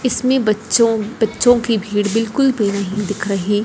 इसमें बच्चों बच्चों की भीड़ बिल्कुल भी नहीं दिख रही।